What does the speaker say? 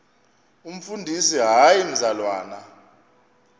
umfundisi hayi mzalwana